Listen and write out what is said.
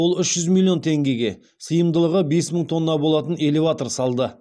ол үш жүз миллион теңгеге сыйымдылығы бес мың тонна болатын элеватор салды